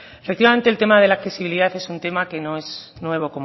efectivamente el tema de la accesibilidad es un tema que no es nuevo